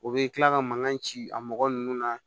O bɛ kila ka mankan ci a mɔgɔ nunnu na